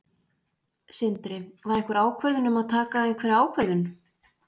Sindri: Var einhver ákvörðun um að taka einhverja ákvörðun?